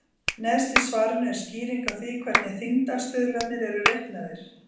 Neðst í svarinu er skýring á því hvernig þyngdarstuðlarnir eru reiknaðir.